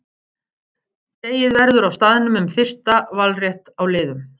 Dregið verður á staðnum um fyrsta valrétt á liðum.